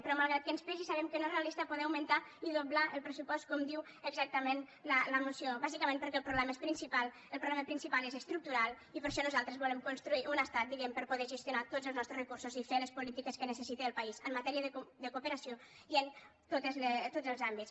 però malgrat que ens pesi sabem que no és realista poder augmentar i doblar el pressupost com diu exactament la moció bàsicament perquè el problema principal és estructural i per això nosaltres volem construir un estat diguem per a poder gestionar tots els nostres recursos i fer les polítiques que necessita el país en matèria de cooperació i en tots els àmbits